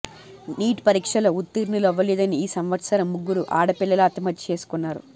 neat పరీక్షలో ఉత్తీర్ణులు అవ్వలేదని ఈ సంవత్సరం ముగ్గురు ఆడ పిల్లలు ఆత్మహత్య చేసుకున్నారు